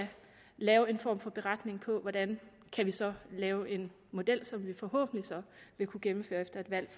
lave en form for beretning over hvordan vi så kan lave en model som vi forhåbentlig så vil kunne gennemføre efter et valg